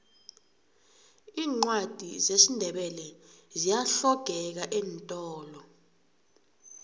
iincwadi zesindebele ziyahlogeka eentolo